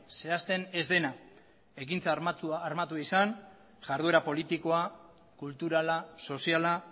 zehazten ez dena ekintza armatua izan jarduera politikoa kulturala soziala